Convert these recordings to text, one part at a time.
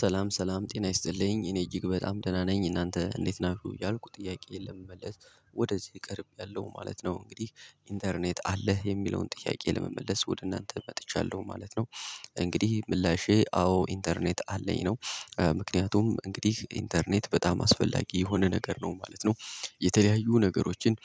ሰላም ሰላም ጤና ይስጥልኝ እኔ እጅግ በጣም ደህና ነኝ እናንተ እንዴት ናችሁ እያልኩ ጥያቄየን ለመመለስ ወደዚህ ቀርቤያለሁ ማለት ነው። እንግዲህ ኢንተርኔት አለህ የሚለውን ጥያቄ ለመመለስ ወደ እናንተ መጥቻለሁ ማለት ነው። እንግዲህ ምላሼ አዎ ኢንተርኔት አለኝ ነው። ምክንያቱም እንግዲህ ኢንተርኔት በጣም አስፈላጊ የሆነ ነገር ነው ማለት ነው። የተለያዩ ነገሮችን።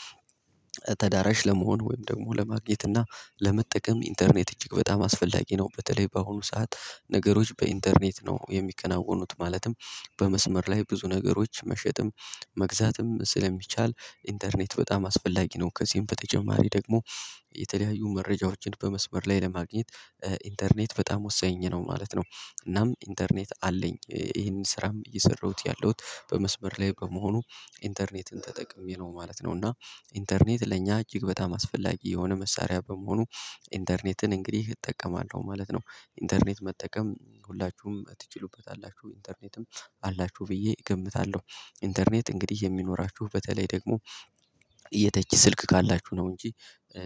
ተደራሽ ለመሆን ወይም ደግሞ ለማግኘት እና ለመጠቀም ኢንተርኔት እጅግ በጣም አስፈላጊ ነው። በተለይ በአሁኑ ሰዓት ነገሮች በኢንተርኔት ነው የሚከናወኑት ማለትም በመስመር ላይ ብዙ ነገሮች መሸጥም መግዛትም ስለሚቻል ኢንተርኔት በጣም አስፈላጊ ነው። ከዚህም በተጨማሪ ደግሞ የተለያዩ መረጃዎችን በመስመር ላይ ለማግኘት ኢንተርኔት በጣም ወሳኝ ነው ማለት ነው። እናም ኢንተርኔት አለኝ ይሄንን ስራም እየሰራሁት ያለሁት በመስበር ላይ በመሆኑ ኢንተርኔትን ተጠቅሜ ነው ማለት ነው። እና ኢንተርኔት ለእኛ እጅግ በጣም አስፈላጊ የሆነ መሳሪያ በመሆኑ ኢንተርኔትን እንግዲህ እጠቀማለሁ ማለት ነው። ኢንተርኔት መጠቀም ሁላችሁም ትችሉበታላችሁ ኢንተርኔትም አላችሁ ብዬ እገምታለሁ። ኢንተርኔት እንግዲህ የሚኖራችሁ በተለይ ደግሞ የተች ስልክ ካላችሁ ነው እንጂ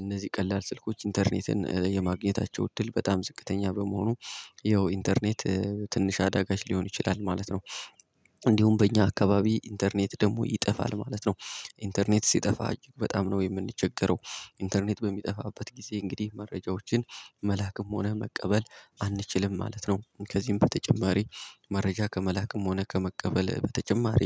እነዚህ ቀላል ስልኮች ኢንተርኔትን የማግኘታቸው እድል በጣም ዝቅተኛ በመሆኑ። ይኸው ኢንተርኔት ትንሽ አዳጋች ሊሆን ይችላል ማለት ነው። እንዲሁም በእኛ አካባቢ ኢንተርኔት ደግሞ ይጠፋል ማለት ነው። ኢንተርኔት ሲጠፋ እጅግ በጣም ነው የምንቸገረው ኢንተርኔት በሚጠፋበት ጊዜ እንግዲህ መረጃዎችን መላክም ሆነ መቀበል አንችልም ማለት ነው። ከዚህም በተጨማሪ መረጃ ከመላክም ሆነ ከመቀበል በተጨማሪ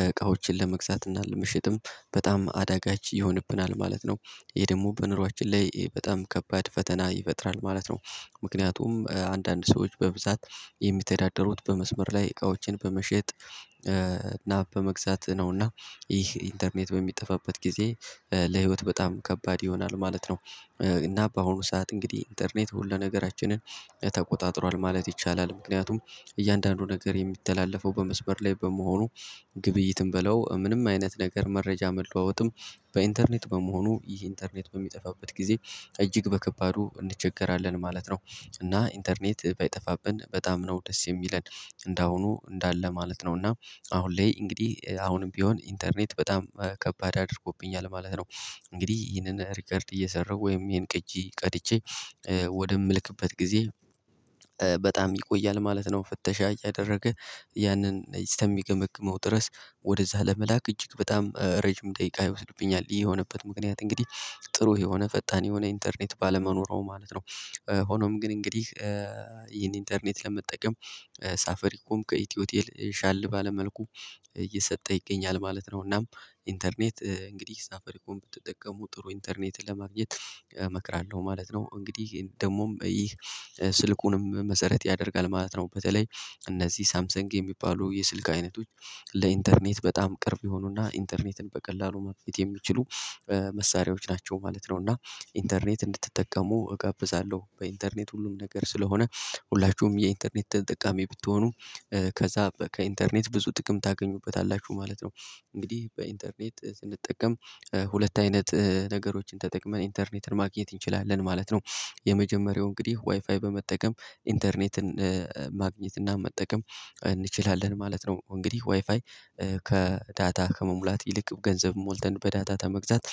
እቃዎችን ለመግዛት እና ለምሸጥም በጣም አዳጋች ይሆንብናል ማለት ነው። ይሄ ደግሞ በኑሮአችን ላይ በጣም ከባድ ፈተና ይፈጥራል ማለት ነው። ምክንያቱም አንዳንድ ሰዎች በብዛት የሚተዳደሩት በመስመር ላይ እቃዎችን በመሸጥ እና በመግዛት ነውና ይህ ኢንተርኔት በሚጠፋበት ጊዜ ለህይወት በጣም ከባድ ይሆናል ማለት ነው። እና በአሁኑ ሰዓት እንግዲህ ኢንተርኔት ሁሉ ነገራችንን ተቆጣጥሯል ማለት ይቻላል። ምክንያቱም እያንዳንዱ ነገር የሚተላለፈው በመስበር ላይ በመሆኑ ግብይትም በለው ምንም አይነት ነገር መረጃ መለዋወጥም በኢንተርኔት በመሆኑ ይህ ኢንተርኔት በሚጠፋበት ጊዜ እጅግ በከባዱ እንቸገራለን ማለት ነው። እና ኢንተርኔት ባይጠፋብን በጣም ነው ደስ የሚለን እንደ አሁኑ እንዳለ ማለት ነው። እና አሁን ላይ እንግዲህ አሁንም ቢሆን ኢንተርኔት በጣም ከባድ አድርጎብኛል ማለት ነው። እንግዲህ ይህንን ሪከርድ እየሰራሁ ወይም ይሄን ቅጂ ቀድቼ ወደምልክበት ጊዜ በጣም ይቆያል ማለት ነው። ፍተሻ ያደረገ ያንን እስተሚገመግመው ድረስ ወደዛ ለመላክ እጅግ በጣም ረጅም ደቂቃ ይወስድብኛል ይሄ የሆነበት ምክንያት እንግዲህ ጥሩ የሆነ ፈጣን የሆነ ኢንተርኔት ባለመኖሩ ማለት ነው። ሆኖም ግን እንግዲህ ይሄን ኢንተርኔት ለመጠቀም ሳፋሪኮም ከኢትዮ ቴል ሻል ባለ መልኩ እየሰጠ ይገኛል ማለት ነው። እናም ኢንተርኔት እንግዲህ ሳፉሪኮምን ብትጠቀሙ ጥሩ ኢንተርኔት ለማግኘት እመክራለሁ ማለት ነው። እንግዲህ ደግሞም ይህ ስልኩንም መሰረት ያደርጋል ማለት ነው። በተለይ እነዚህ ሳምሰንግ የሚባሉ የስልክ አይነቶች ለኢንተርኔት በጣም ቅርብ የሆኑና ኢንተርኔትን በቀላሉ ማግኜት የሚችሉ መሳሪያዎች ናቸው ማለት ነው። እና ኢንተርኔት እንድትጠቀሙ እጋብዛለሁ በኢንተርኔት ሁሉም ነገር ስለሆነ ሁላችሁም የኢንተርኔት ተጠቃሚ ብትሆኑ ከዛ ከኢንተርኔት ብዙ ጥቅም ታገኙበታላችሁ ማለት ነው። እንግዲህ በኢንተርኔት ስንጠቀም ሁለት አይነት ነገሮችን ተጠቅመን ኢንተርኔትን ማግኘት እንችላለን ማለት ነው። የመጀመሪያው እንግዲህ ዋይፋይ በመጠቀም ኢንተርኔትን ማግኘት እና መጠቀም እንችላለን ማለት ነው። እንግዲህ ዋይፋይ ከዳታ ከመሙላት ይልቅ ገንዘብ ሞልተን በዳታ ከመግዛት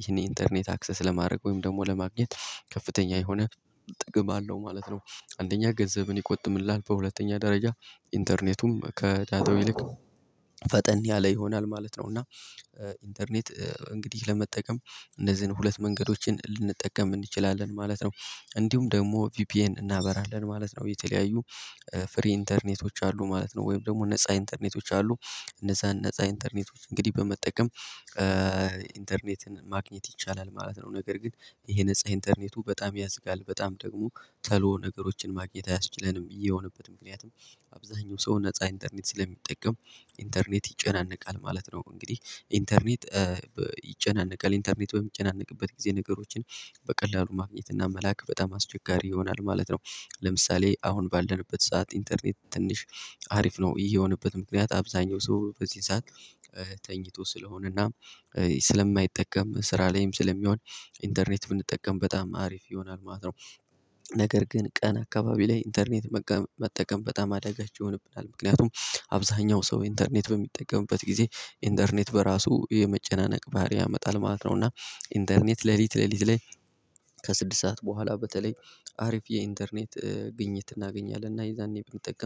ይሄን ኢንተርኔት አክሰስ ለማድረግ ወይም ደግሞ ለማግኘት ከፍተኛ የሆነ ጥቅም አለው ማለት ነው። አንደኛ ገንዘብን ይቆጥብልሃል በሁለተኛ ደረጃ ኢንተርኔቱም ከዳታው ይልቅ ፈጠን ያለ ይሆናል ማለት ነው። እና ኢንተርኔት እንግዲህ ለመጠቀም እነዚህን ሁለት መንገዶችን ልንጠቀም እንችላለን ማለት ነው። እንዲሁም ደግሞ ቪፒኤን እናበራለን ማለት ነው የተለያዩ ፍሪ ኢንተርኔቶች አሉ ማለት ነው። ወይም ደግሞ ነፃ ኢንተርኔቶች አሉ። እነዛን ነፃ ኢንተርኔቶች እንግዲህ በመጠቀም ኢንተርኔትን ማግኘት ይቻላል ማለት ነው። ነገር ግን ይሄ ነፃ ኢንተርኔቱ በጣም ያዝጋል በጣም ደግሞ ቶሎ ነገሮችን ማግኘት አያስችለንም ብዬ የሆነበት ምክንያቱም አብዛኛው ሰው ነፃ ኢንተርኔት ስለሚጠቀም ኢንተርኔት ይጨናነቃል ማለት ነው። እንግዲህ ኢንተርኔት ይጨናነቃል ኢንተርኔት ወይም የሚጨነቅበት ጊዜ ነገሮችን በቀላሉ ማግኘት እና መላክ በጣም አስቸጋሪ ይሆናል ማለት ነው። ለምሳሌ አሁን ባለንበት ሰዓት ኢንተርኔት ትንሽ አሪፍ ነው። ይሄ የሆነበት ምክንያት አብዛኛው ሰው በዚህ ሰዓት ተኝቶ ስለሆነ እና ስለማይጠቀም ስራ ላይም ስለሚሆን ኢንተርኔት ብንጠቀም በጣም አሪፍ ይሆናል ማለት ነው። ነገር ግን ቀን አካባቢ ላይ ኢንተርኔት መጠቀም በጣም አደጋች ይሆንብናል ምክንያቱም አብዛኛው ሰው ኢንተርኔት በሚጠቀምበት ጊዜ ኢንተርኔት በራሱ የመጨናነቅ ባህሪ ያመጣል ማለት ነው። እና ኢንተርኔት ሌሊት ሌሊት ላይ ከስድስት ሰዓት በኋላ በተለይ አሪፍ የኢንተርኔት ግኝት እናገኛለን እና የዛኔ ብንጠቀም